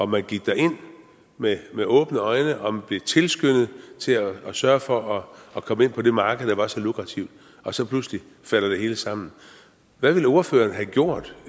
man gik derind med med åbne øjne og blev tilskyndet til at sørge for at komme ind på det marked der var så lukrativt og så pludselig falder det hele sammen hvad ville ordføreren have gjort